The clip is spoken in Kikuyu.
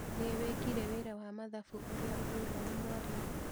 Nĩ wĩkire wĩra wa mathabu ũrĩa ũheirwo nĩ mwarimũ